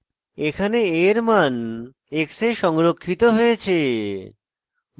এখানে a এর মান x a সংরক্ষিত হয়েছে